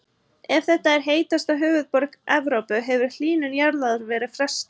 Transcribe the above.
Ef þetta er heitasta höfuðborg Evrópu hefur hlýnun jarðar verið frestað.